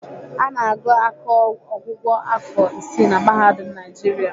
Ana agụ akọọgwụgwọ afọ isii na Mahadum Naijiria.